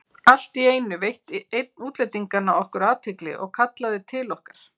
Allt í einu veitti einn útlendinganna okkur athygli og kallaði til okkar.